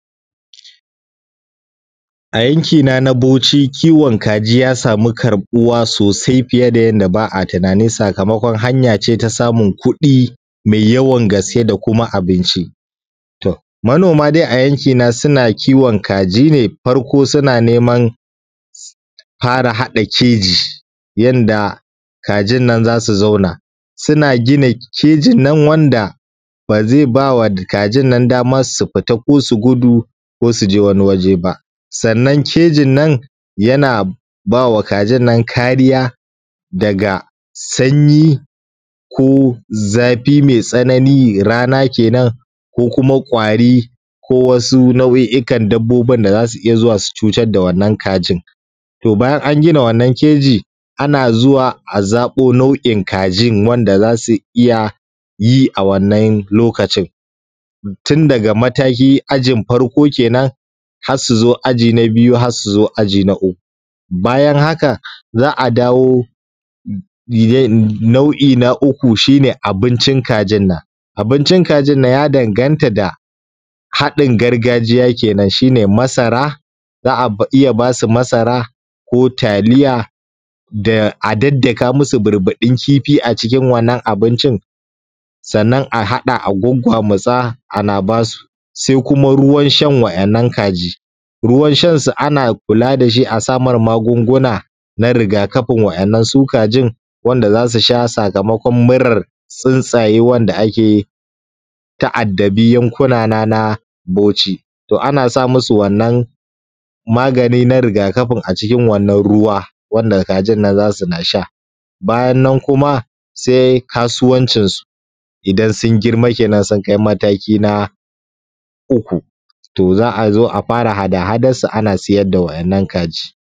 A yankina na Bauchi kiwon kaji ya samu karɓuwa sosai fiye da yanda ba a tunanin sakamakon hanya ce ta samun kuɗi mai yawan gaske da kuma abinci. To, manoma dai a yankina suna kiwon kaji ne farko suna neman fara haɗa keji yanda kajin nan za su zauna suna gina kejin nan wanda ba zai ba wa kajin nan dama su fita ko su gudu ko su je wani waje ba. Sannan kejin nan yana ba wa kajin nan kariya daga sanyi ko zafi mai tsanani, rana ke nan ko kuma ƙwari ko wasu nau’i'ikan dabbobin da za su iya zuwa su cutar da wannan kajin. To bayan an gina wannan keji ana zuwa a zaɓo nau’in kajin wanda za su iya yi a wannan lokacin tun daga mataki ajin farko ke nan har su zo aji na biyu har su zo aji na uku. Bayan hakan za a dawo nau'i na uku shi ne abincin kajin nan. Abincin kajin nan ya danganata da haɗin gargajiya kenan, shi ne masara za a iya ba su masara ko taliya a daddaka musu burbuɗin kifi a cikin wannan abincin sannan a haɗa a gwaggwamutsa ana ba su. Sai kuma ruwan shan waƴannan kaji. Ruwan shan su ana kula da shi a sa mar magunguna na riga kafin waƴannan su kajin wanda za su sha sakamakon murar tsuntsaye wanda ake ta addabi yankuna na Bauchi. To ana sa musu wannan magani na riga kafin a cikin wannan ruwa wanda kajin nan za suna sha. Sannan kuma sai kasuwancinsu idan sun girma kenan sun kai mataki na uku. To za a zo a fara hada hadarsu ana sayar da waƴannan kaji.